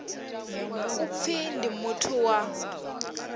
u pfi ndi muthu wa